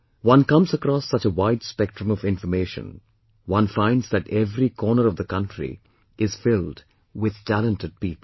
One comes across such a wide spectrum of information, one finds that every corner of the country is filled with talented people